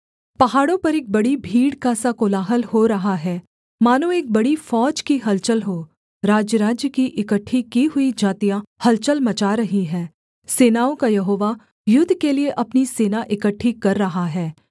पहाड़ों पर एक बड़ी भीड़ का सा कोलाहल हो रहा है मानो एक बड़ी फौज की हलचल हों राज्यराज्य की इकट्ठी की हुई जातियाँ हलचल मचा रही हैं सेनाओं का यहोवा युद्ध के लिये अपनी सेना इकट्ठी कर रहा है